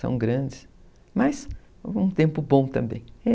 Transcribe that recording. São grandes, mas um tempo bom também.